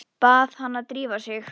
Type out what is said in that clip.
Bað hana að drífa sig.